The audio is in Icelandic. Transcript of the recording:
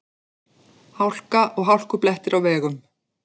Hálka og hálkublettir á vegum